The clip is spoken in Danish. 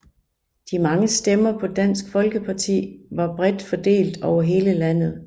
De mange stemmer på Dansk Folkeparti var bredt fordelt over hele landet